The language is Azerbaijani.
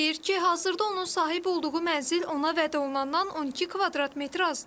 Deyir ki, hazırda onun sahib olduğu mənzil ona vəd olunandan 12 kvadrat metr azdır.